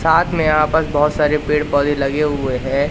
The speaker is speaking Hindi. साथ में यहां पर बहोत सारे पेड़ पौधे लगे हुए है।